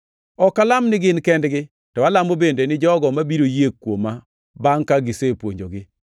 “Ok alam ni gin kendgi, to alamo bende ni jogo mabiro yie kuoma bangʼ ka gisepuonjogi.